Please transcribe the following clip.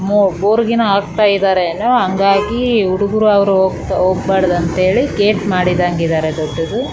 ಇಲ್ಲಿ ಒಂದು ಕಂಪೌಂಡ್ ಇದೆ ಕಂಪೌಂಡ್ನ ಒಳಗಡೆ ಇಲ್ಲಿ ಎಲ್ಲಾ --